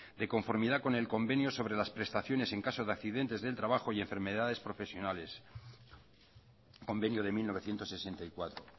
de conformidad con el convenio sobre las prestaciones en caso de accidentes del trabajo y enfermedades profesionales convenio de mil novecientos sesenta y cuatro